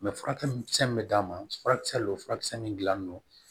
furakisɛ min bɛ d'a ma furakisɛ lo furakisɛ min dilannen don